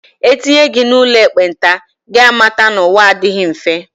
E tinye gị n'ụlọ ekpenta, gị mata na ụwa a adịghị mfe.